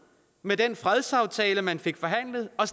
med den fredsaftale man fik forhandlet og